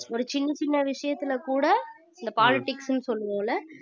ஒரு சின்ன சின்ன விஷயத்துல கூட இந்த politics னு சொல்லுவோம்ல